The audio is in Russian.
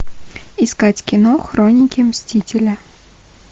искать кино хроники мстителя